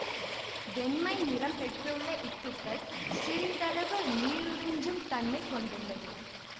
வெண்மை நிறம் பெற்றுள்ள இத்துகள் சிறிதளவு நீருறிஞ்சும் தன்மை கொண்டுள்ளது